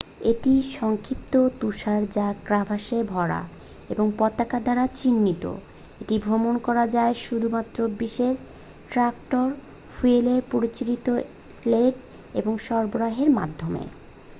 এটি সংক্ষিপ্ত তুষার যা ক্রাভাসে ভরা এবং পতাকা দ্বারা চিহ্নিত। এটি ভ্রমন করা যায় শুধুমাত্র বিশেষ ট্র‍্যাক্টর ফুয়েলে পরিচালিত স্লেড এবং সরবরাহের মাধ্যমে।